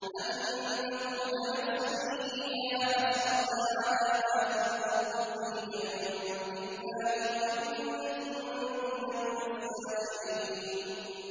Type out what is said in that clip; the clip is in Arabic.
أَن تَقُولَ نَفْسٌ يَا حَسْرَتَا عَلَىٰ مَا فَرَّطتُ فِي جَنبِ اللَّهِ وَإِن كُنتُ لَمِنَ السَّاخِرِينَ